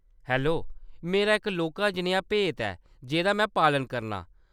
Hello, मेरा इक लौह्‌‌‌का जनेहा भेत ऐ जेह्‌दा में पालन करनां ।